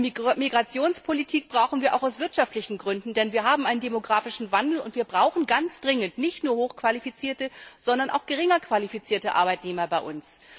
Eine Migrationspolitik brauchen wir auch aus wirtschaftlichen Gründen, denn wir haben einen demografischen Wandel, und wir brauchen ganz dringend nicht nur hochqualifizierte, sondern auch geringer qualifizierte Arbeitnehmer bei uns.